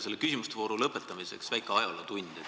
Selle küsimuste vooru lõpetamiseks väike ajalootund.